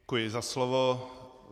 Děkuji za slovo.